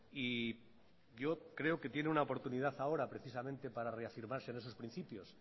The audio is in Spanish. y yo creo que tiene una oportunidad ahora precisamente para reafirmarse en esos principios